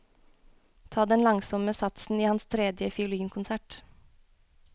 Ta den langsomme satsen i hans tredje fiolinkonsert.